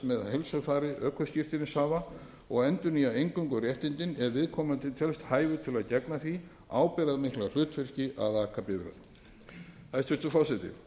með heilsufari ökuskírteinishafa og endurnýja eingöngu réttindin ef viðkomandi telst hæfur til að gegna því ábyrgðarmikla hlutverki að aka bifreið hæstvirtur forseti